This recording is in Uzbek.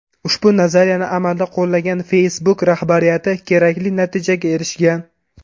Ushbu nazariyani amalda qo‘llagan Facebook rahbariyati kerakli natijaga erishgan.